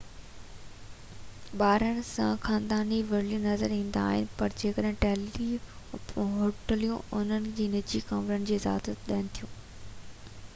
ٻارن ساڻ خاندان ورلي نظر ايندا آهن پر ڪجھ هوٽليون انهن کي نجي ڪمرن ۾ اجازت ڏين ٿيون